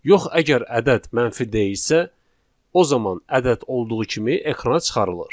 Yox əgər ədəd mənfi deyilsə, o zaman ədəd olduğu kimi ekrana çıxarılır.